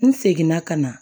N seginna ka na